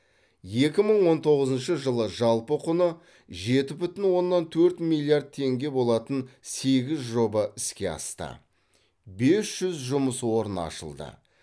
екі мың он тоғызыншы жылы жалпы құны жеті бүтін оннан төрт миллиард теңге болатын сегіз жоба іске асты бес жүз жұмыс орны ашылды